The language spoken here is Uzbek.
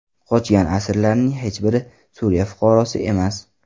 Qochgan asirlarning hech biri Suriya fuqarosi emas.